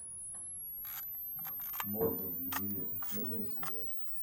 морган ювелир первая серия